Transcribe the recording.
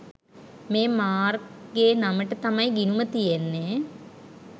මේ මාර්ක්ගේ නමට තමයි ගිණුම තියෙන්නේ.